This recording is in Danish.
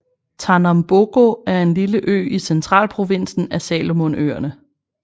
Tanambogo er en lille ø i centralprovinsen af Salomonøerne